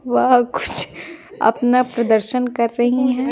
वह कुछ अपना प्रदर्शन कर रही हैं।